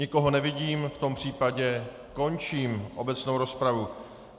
Nikoho nevidím, v tom případě končím obecnou rozpravu.